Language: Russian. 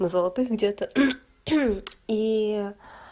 на золотых где-то и